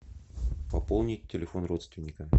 пополнить телефон родственника